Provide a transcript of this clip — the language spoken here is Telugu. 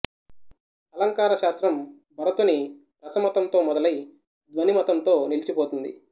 అలంకార శాస్త్రం భరతుని రసమతంతో మొదలై ధ్వని మతంతో నిలిచిపోయింది